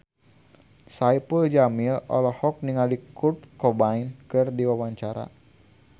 Saipul Jamil olohok ningali Kurt Cobain keur diwawancara